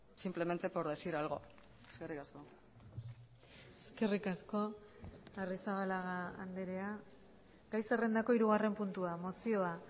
simplemente por decir algo eskerrik asko eskerrik asko arrizabalaga andrea gai zerrendako hirugarren puntua mozioa